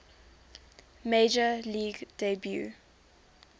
major league debut